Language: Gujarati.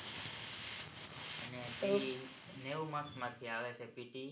અને નેવું માર્કસ માંથી આવે છે pte